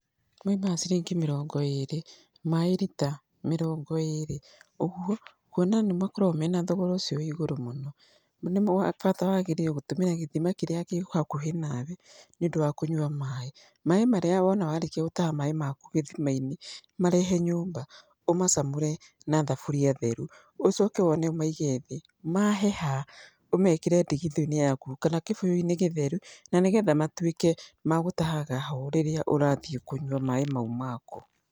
Moimaga ciringi mĩrongo ĩrĩ, maĩ rita, mĩrongo ĩrĩ. Ũguo kuona nĩ makoragwo mena thogora ũcio wĩ igũrũ mũno, nĩ bata wagĩrĩire gũtũmĩra gĩthima kĩrĩa kĩ hakuhĩ nawe nĩũndũ wa kũnyua maĩ. Maĩ marĩa wona warĩkia gũtaha maĩ maku gĩthima-inĩ, marehe nyũmba, ũmacamũre na thaburia theru, ũcoke wone ũmaige thĩ. Maheha, ũmekĩre ndigithũ-inĩ yaku, kana kĩbũyũ-inĩ gĩtheru, na nĩ getha matuĩke ma gũtaha ho rĩrĩa ũrathiĩ kũnyua maaĩ mau maku.